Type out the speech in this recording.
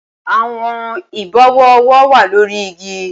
Awọn ibọwọ ọwọ wa lori igi